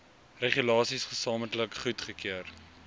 regulasies gesamentlik goedgekeur